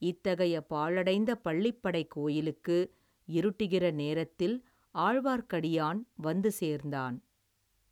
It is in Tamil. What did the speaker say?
இத்தகைய பாழடைந்த பள்ளிப்படைக் கோயிலுக்கு, இருட்டுகிற நேரத்தில், ஆழ்வார்க்கடியான் வந்து சேர்ந்தான்.